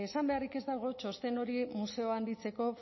esan beharrik ez dago txosten hori museoa handitzeko